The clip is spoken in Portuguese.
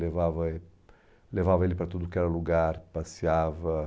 Levava eh, levava ele para tudo que era lugar, passeava.